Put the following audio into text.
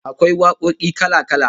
Akwai wakoki kala-kala